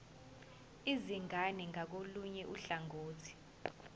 izingane ngakolunye uhlangothi